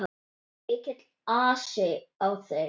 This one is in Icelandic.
Mikill asi á þeim.